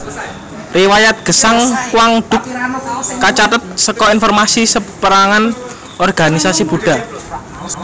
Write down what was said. Riwayat gesang Quang Duc kacathet saka informasi sapérangan organisasi Buddha